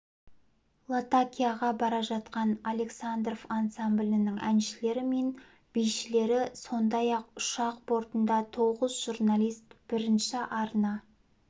латакияға бара жатқан александров ансамблінің әншілері мен бишілері сондай-ақ ұшақ бортында тоғыз жрналист бірінші арна